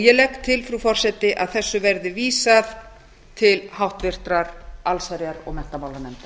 ég legg til frú forseti að þessu verði vísað til háttvirtrar allsherjar og menntamálanefndar